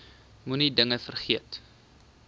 moenie dinge vergeet